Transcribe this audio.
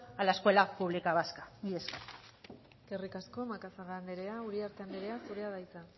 a la escuela pública vasca mila esker eskerrik asko macazaga andrea uriarte andrea zurea da hitza